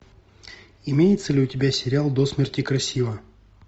имеется ли у тебя сериал до смерти красива